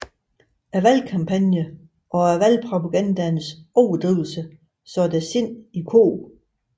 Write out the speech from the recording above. Valgkampagnen og valgpropagandaens overdrivelser satte sindene i kog